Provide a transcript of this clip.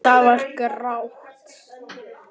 Það var grátt.